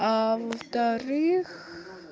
а во вторых